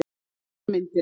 Utan um myndina.